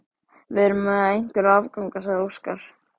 Við erum með einhverja afganga, sagði Óskar.